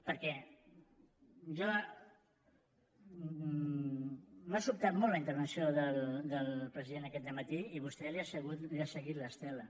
per què m’ha sobtat molt la intervenció del president aquest dematí i vostè li ha seguit l’estela